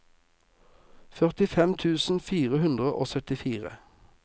førtifem tusen fire hundre og syttifire